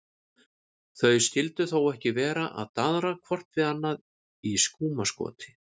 Þau skyldu þó ekki vera að daðra hvort við annað í skúmaskoti?